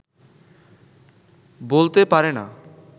বলতে পারে না